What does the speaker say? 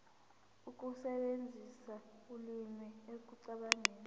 ukusebenzisa ulimi ekucabangeni